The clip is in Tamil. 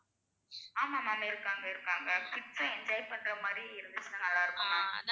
ஆமா ma'am இருக்காங்க இருக்காங்க kids சும் enjoy பண்ற மாறி இருந்துச்சுன்னா நல்லா இருக்கும்.